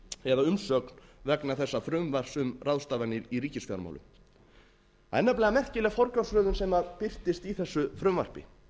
eða umsögn vegna þessa frumvarps um ráðstafanir í ríkisfjármálum það er nefnilega merkileg forgangsröðun sem birtist í þessu frumvarpi